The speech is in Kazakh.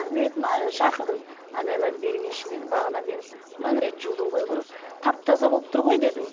мен айттым ыыы шақырдым айналайын бер келші дедім бағанадан бері мың рет жудың ғой говорю тап таза болып тұр ғой дедім